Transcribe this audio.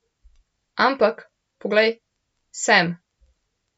Ampak, poglej, sem.